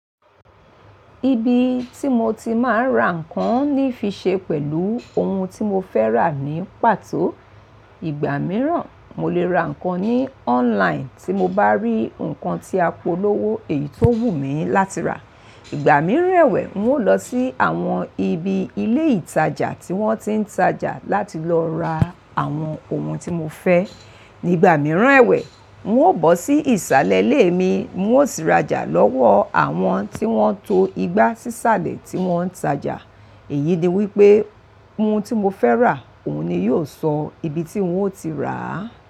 Ibi tí mo ti máa ń ra nǹkan ní fi ṣe pẹ̀lú ohun tí mo fẹ́ rà ní pàtó. Ìgbà mìíràn mo lè ra nǹkan ní online tí mo bá rí nǹkan tí a polówó èyí tó wù mí láti rà. Ìgbà míràn ẹ̀wẹ̀, mo ń lọ sí àwọn ibi ilé ìtajà tí wọ́n ti ń tajà láti lọ ra àwọn ohun tí mo fẹ́. Ní ìgbà míràn ẹ̀wẹ̀, mo ó bọ́ sí ìsàlẹ̀ ilé mi, mo ó sì rajà lọ́wọ́ àwọn tí wọ́n tó igbá sísàlẹ̀ tí wọ́n ń tajà. Èyí ni wípé ohun tí mo fẹ́ rà, òun ni yóò sọ ibi tí ń ó ti rà á.